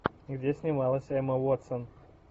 где снималась эмма уотсон